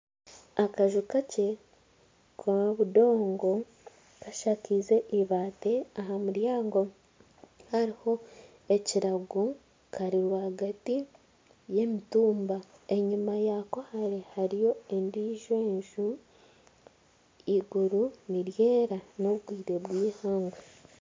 Akanju kakye k'obudongo kashakize eibaati, aha muryango hariho ekirago kari rwagati y'emitumba enyuma yako hariyo endijo enju eiguru niryera n'obwire bw'eihangwe.